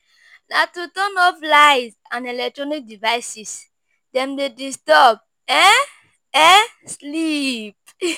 Na to turn off lights and eletronic devices, dem dey disturb um um sleep.